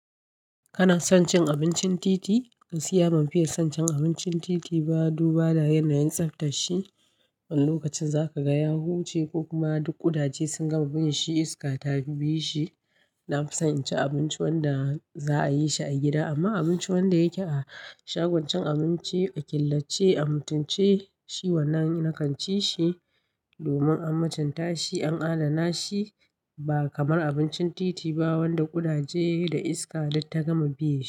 Kana son cin abincin titi? Gaskiya ban fiye son cin abincin titi ba, duba da yanayin tsaftashi. Wani lokacin zaka ga ya huce ko kuma duk ƙudaje sun gama bin shi iska ta bi shi. Na fi son in cin abinci wanda za a yi shi a gida amma abinci wanda yake a shagon cin abinci a killace a mutunce shi wannan na kan ci shi domin an mutunta shi, an adana shi ba kamar abincin titi ba wanda ƙudaje da iska duk ta gama biye sh.